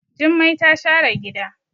Jummai ta share gida.